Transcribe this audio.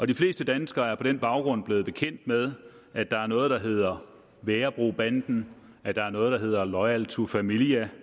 de fleste danskere er på den baggrund blevet bekendt med at der er noget der hedder værebrobanden at der er noget der hedder loyal to familia